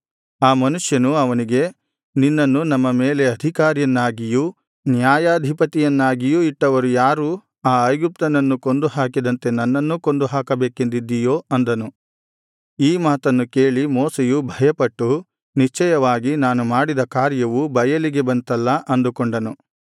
ಆ ಮನುಷ್ಯನು ಅವನಿಗೆ ನಿನ್ನನ್ನು ನಮ್ಮ ಮೇಲೆ ಅಧಿಕಾರಿಯನ್ನಾಗಿಯೂ ನ್ಯಾಯಾಧಿಪತಿಯನ್ನಾಗಿಯೂ ಇಟ್ಟವರು ಯಾರು ಆ ಐಗುಪ್ತ್ಯನನ್ನು ಕೊಂದು ಹಾಕಿದಂತೆ ನನ್ನನ್ನೂ ಕೊಂದುಹಾಕಬೇಕೆಂದಿದ್ದಿಯೋ ಅಂದನು ಈ ಮಾತನ್ನು ಕೇಳಿ ಮೋಶೆಯು ಭಯಪಟ್ಟು ನಿಶ್ಚಯವಾಗಿ ನಾನು ಮಾಡಿದ ಕಾರ್ಯವು ಬಯಲಿಗೆ ಬಂತಲ್ಲಾ ಅಂದುಕೊಂಡನು